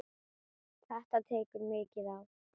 Þetta tekur mikið á.